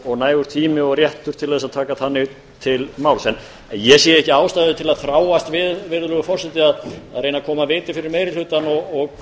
og nægur tími og réttur til að taka þannig til máls ég sé ekki ástæðu til að þráast við að reyna að koma viti fyrir meiri hlutann